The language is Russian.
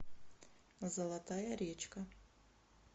золотая речка